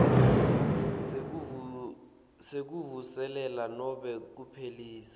sekuvuselela nobe kuphelisa